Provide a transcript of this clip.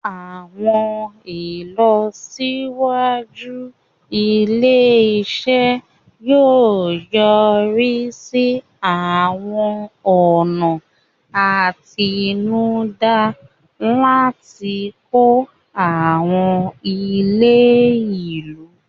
Àwọn ìlọsíwájú ilé-iṣẹ́ yóò yọrí sí àwọn ọ̀nà àtinúdá láti kọ́ àwọn ilé ìlú.